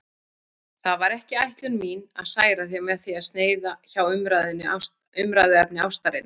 Það var ekki ætlun mín að særa þig með því að sneiða hjá umræðuefni ástarinnar.